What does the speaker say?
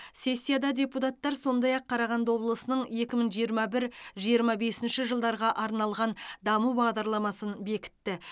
сессияда депутаттар сондай ақ қарағанды облысының екі мың жиырма бір жиырма бесінші жылдарға арналған даму бағдарламасын бекітті